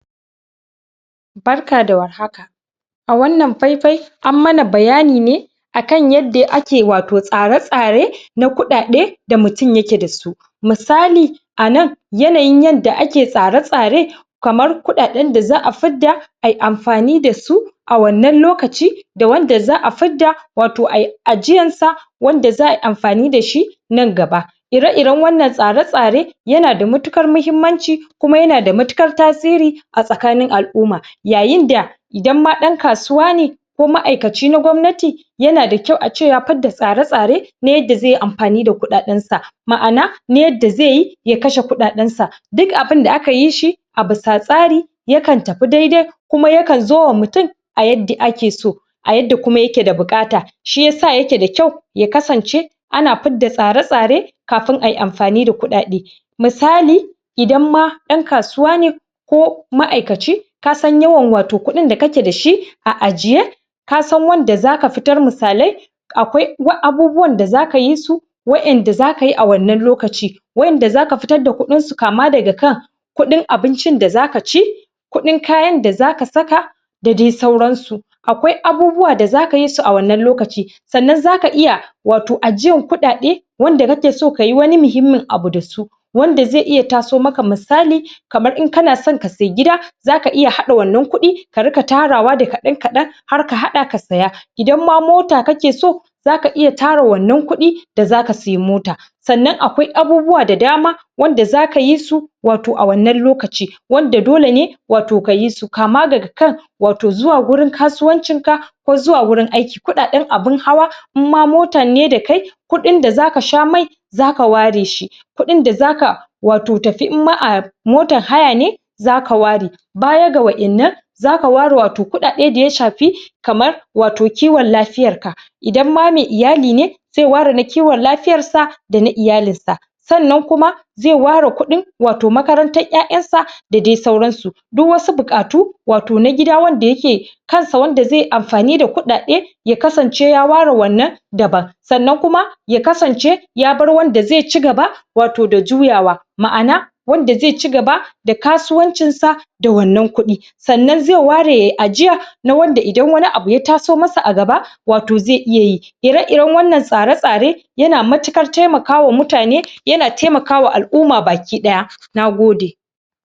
barka da war haka a wannan faifai an mana bayani ne a kan yadda ake wato tsare tsare na kuɗaɗe da mutum yake da su misali a nan yanayin yadda ake tsare tsare kamar kuɗaɗen da za fidda a yi amfani da su a wannan lokaci da wanda za a fidda wato ai ajiyan sa wanda za ai amfani da shi nan gaba irei iren wannan tsare tsare yana da matuƙar muhimmanci kuma yana da matuƙar tasiri a tsakanin al'umma yayin da idan ma ɗan kasuwa ne ko ma'aikaci na gwamnati yana da kyau ace ya fidda tsare tsare na yadda zai amfani da kuɗaɗensa ma'ana na yadda zai yi ya kashe kuɗaɗensa duk abinda aka yi shi a bisa tsari ya kan tafi dai dai kuma ya kan zo wa mutum a yadda a ke so a yadda kuma ya ke da buƙata shi yasa yake da kyau ya kasance a na fidda tsare tsare kafin a yi amfani da kuɗaɗe misali idan ma "yan kasuwa ne ko ma'aikaci kasan yawan kuɗin da kake dashi a ajiye kasan wanda za ka fitar misalai akwai abubuwan da za ka yi su waɗanda zaka yi a wannan lokaci waɗanda zaka fitar da kuɗin su kama daga kan kuɗin abincin da zaka ci kudin kayan da za ka saka da sai sauran su akwai abubuwa da za ka yi su a wannan lokaci sannan zaka iya wato ajiyar kuɗaɗe wanda kake son kayi wani muhimmin abu da su wanda zai iya taso maka misali kamar in kana son ka sayi gida zaka iya haɗa wannan kuɗi ka rika tarawa da kaɗan kaɗan har ka haɗa ka siya idan ma mota kake so zaka iya tara wannan kuɗi da zaka siyi mota sannan akwai abubuwa da dama wanda za ka yi su wato a wannan lokaci wanda dole ne wato ka yi su kama daga kan wato zuwa gurin kasuwancinka ko zuwa wurin aiki kuɗaɗen abin hawa in ma motan ne da kai kuɗin da za ka sha mai zaka ware shi kuɗin da zaka wato tafi in ma a motan haya ne za ka ware baya da wa innan za ka ware wato kuɗaɗe da ya shafi kamar wato kiwon lafiyarka idan ma mai iyali ne cewa da na kiwon lafiyarsa da na iyalin sa sannan kuma zai ware kuɗin wato makarantar ya'yansa da dai sauran su duk wasu buƙatu wato na gida wanda yake kan sa wanda zai amfani da kuɗaɗe ya kasance ya ware wannan daban sannan kuma ya kasance ya bar wanda zai cigaba wato da juyawa ma'ana wanda zai cigaba da kasuwancinsa da wannan kuɗi sannan zai ware yayi ajiya na wanda idan wani abu ya taso masa a gaba wato zai iya yi ire iren wannan tsare stare yana matukar taimaka ma mutane yana taimaka ma al'umma baki ɗaya nagode